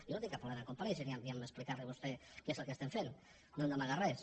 jo no tinc cap problema a comparèixer ni a explicar li a vostè què és el que estem fent no hem d’amagar res